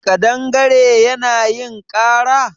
ƙadangare Yana yin ƙara?